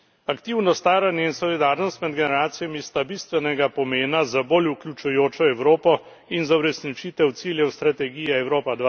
Aktivno staranje in solidarnost med generacijami sta bistvenega pomena za bolj vključujočo Evropo in za uresničitev ciljev stretegije Evropa